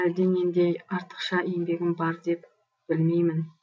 әлденендей артықша еңбегім бар деп білмеймін